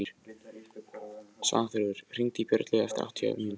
Svanþrúður, hringdu í Björnlaugu eftir áttatíu mínútur.